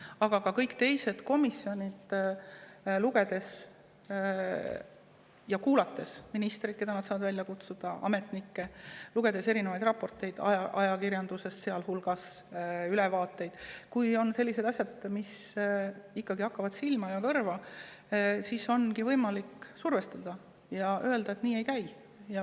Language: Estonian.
Aga ka kõik teised komisjonid, kui nad kuulavad ministrit või ametnikke, keda nad saavad välja kutsuda, või loevad ajakirjanduses avaldatud raporteid või ülevaateid – kui on ikkagi sellised asjad, mis hakkavad silma ja kõrva, siis ongi võimalik survestada ja öelda, et nii see ei käi.